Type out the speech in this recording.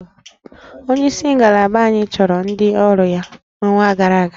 Onyeisi ngalaba anyị chụrụ ndị ọrụ ya n'ọnwa gara aga